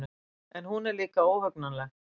En hún er líka óhugnanleg.